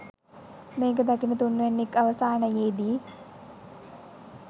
මේක දකින තුන්වැන්නෙක් අවසානයේදි